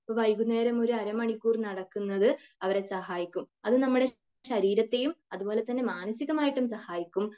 ഇപ്പൊ വൈകുന്നേരം ഒരു അരമണിക്കൂർ നടക്കുന്നത് അവരെ സഹായിക്കും. അത് നമ്മുടെ ശരീരത്തെയും അതുപോലെ തന്നെ മാനസികമായിട്ടും സഹായിക്കും.